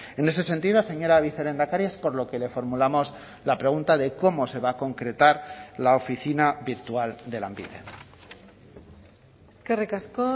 en ese sentido señora vicelehendakari es por lo que le formulamos la pregunta de cómo se va a concretar la oficina virtual de lanbide eskerrik asko